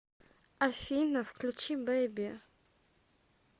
афина включи боди